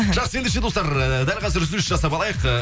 жақсы ендеше достар үзіліс жасап алайық э